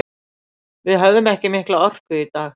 Við höfðum ekki mikla orku í dag.